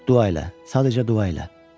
Dua elə, sadəcə dua elə.